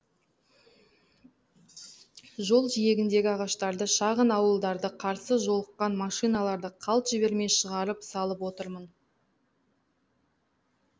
жол жиегіндегі ағаштарды шағын ауылдарды қарсы жолыққан машиналарды қалт жібермей шығарып салып отырмын